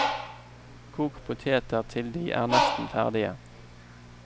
Kok poteter til de er nesten ferdige.